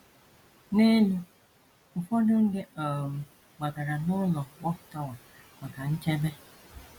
N’elu: Ụfọdụ ndị um gbagara n’ụlọ Watchtower maka nchebe